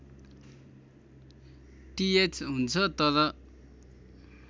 टिएच हुन्छ तर